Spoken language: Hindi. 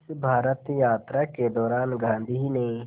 इस भारत यात्रा के दौरान गांधी ने